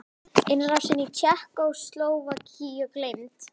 Innrásin í Tékkóslóvakíu gleymd?